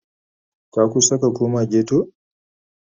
Ka kusa ka koma ghetto?